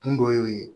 Kun dɔ y'o ye